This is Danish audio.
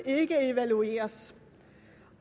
ikke evalueres